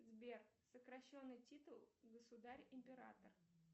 сбер сокращенный титул государь император